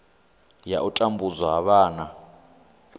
ya u tambudzwa ha vhana